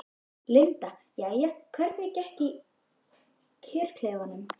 Linda: Jæja, hvernig gekk í kjörklefanum?